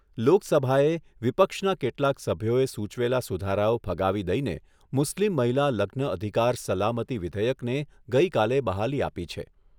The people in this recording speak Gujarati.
લોકસભાએ, વિપક્ષના કેટલાક સભ્યોએ સુચવેલા સુધારાઓ ફગાવી દઈને, મુસ્લીમ મહિલા લગ્ન અધિકાર સલામતી વિધેયકને ગઈકાલે બહાલી આપી છે.